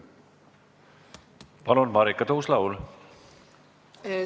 Palun, Marika Tuus-Laul!